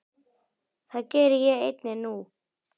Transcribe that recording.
Það geri ég einnig nú.